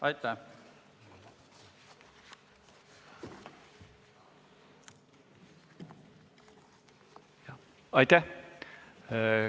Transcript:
Aitäh!